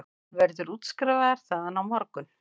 Hann verður útskrifaður þaðan á morgun